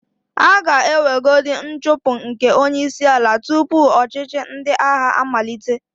A ga-enwegodi nchụpụ nke onyeísīala tupu ọchịchị ndị agha amalite.